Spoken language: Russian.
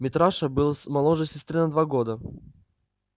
митраша был моложе сестры на два года